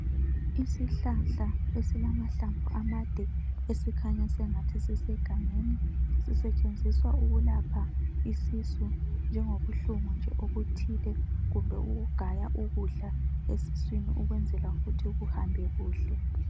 Isihlahla esilamahlamvu amade esikhanya sengathi sisegangeni. Sisetshenziswa ukulapha isisu njengobuhlungu nje obuthile kumbe ukugaya ukudla esiswini ukwenzela ukuthi kuhambe kuhle.